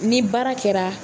Ni baara kɛra